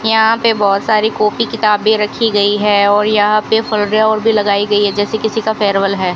यहां पे बहुत सारी कॉपी किताबें रखी गई है और यहां पे भी लगाई गई है जैसे किसी का फेयरवेल है।